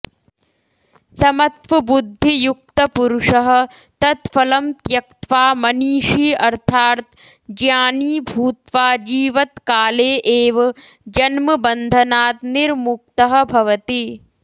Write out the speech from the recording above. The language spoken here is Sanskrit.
समत्वबुद्धियुक्तपुरुषः तत् फलं त्यक्त्वा मनीषी अर्थात् ज्ञानी भूत्वा जीवत्काले एव जन्मबन्धनात् निर्मुक्तः भवति